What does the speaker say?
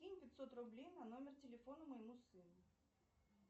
кинь пятьсот рублей на номер телефона моему сыну